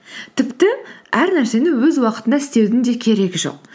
тіпті әр нәрсені өз уақытында істеудің де керегі жоқ